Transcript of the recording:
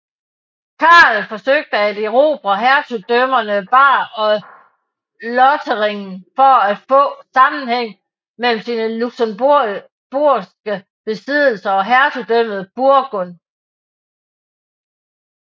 Karl forsøgte at erobre hertugdømmerne Bar og Lothringen for at få sammenhæng mellem sine luxembourgske besiddelser og hertugdømmet Burgund